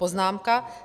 Poznámka